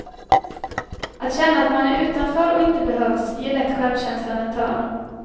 Att känna att man är utanför och inte behövs ger lätt självkänslan en törn.